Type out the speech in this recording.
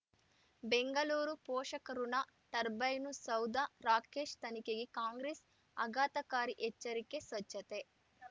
ಬೆಂಗಳೂರು ಪೋಷಕಋಣ ಟರ್ಬೈನು ಸೌಧ ರಾಕೇಶ್ ತನಿಖೆಗೆ ಕಾಂಗ್ರೆಸ್ ಆಘತಕಾರಿ ಎಚ್ಚರಿಕೆ ಸ್ವಚ್ಛತೆ